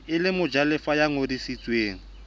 e le mojalefa ya ngodisitsweng